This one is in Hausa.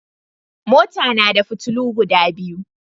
Mota nada fitulu guda biyu